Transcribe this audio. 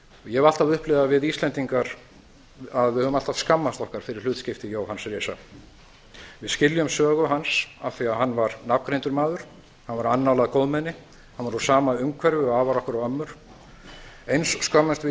ég hef alltaf upplifað að við íslendingar höfum alltaf skammast okkar fyrir hlutskipti jóhanns risa við skiljum sögu hans af því að hann var nafngreindur maður hann var annálað góðmenni hann var úr sama umhverfi og afar okkar og ömmur eins skömmumst við